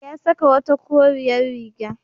Ya saka wata koriyar riga.